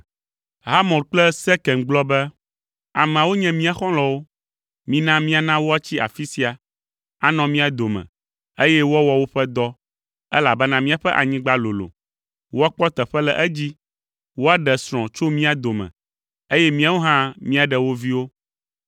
Hamor kple Sekem gblɔ be, “Ameawo nye mía xɔlɔ̃wo. Mina míana woatsi afi sia, anɔ mía dome, eye woawɔ woƒe dɔ, elabena míaƒe anyigba lolo; woakpɔ teƒe le edzi, woaɖe srɔ̃ tso mía dome, eye míawo hã míaɖe wo viwo.